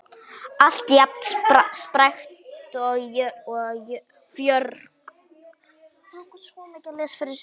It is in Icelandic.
Alltaf jafn spræk og fjörug.